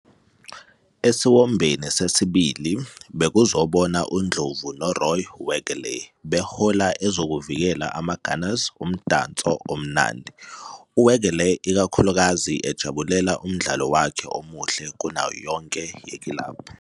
Esiwombeni sesibili bekuzobona uNdlovu noRoy Wegerle behola ezokuvikela amaGunners umdanso omnandi, uWegerle ikakhulukazi ejabulela umdlalo wakhe omuhle kunayo yonke yekilabhu.